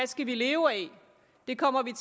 skal leve af den kommer vi